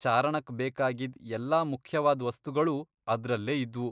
ಚಾರಣಕ್ ಬೇಕಾಗಿದ್ ಎಲ್ಲ ಮುಖ್ಯವಾದ್ ವಸ್ತುಗಳೂ ಅದ್ರಲ್ಲೇ ಇದ್ವು.